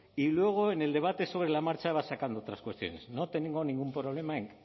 y luego en el debate sobre la marcha va sacando otras cuestiones no tengo ningún problema en